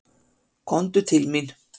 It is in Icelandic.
Komdu til mín.